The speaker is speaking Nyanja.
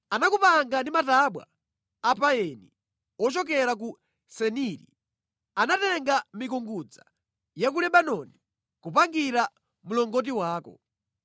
Anakupanga ndi matabwa a payini ochokera ku Seniri; anatenga mikungudza ya ku Lebanoni kupangira mlongoti wako.